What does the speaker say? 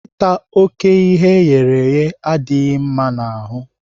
Ịta oké ihe eghereghe adịghị mma n'ahụ.